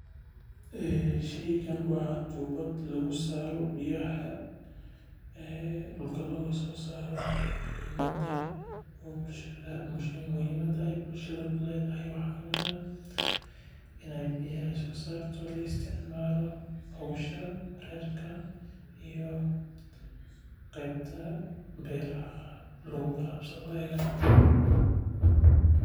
Sheygan waa tubad lagu saaro biyaha dulka looga soo saaro muhimada aay bulshada kuledahay waxaa waye waa in beeraha lagu warabsado laana isticmaalo howsha qoyska.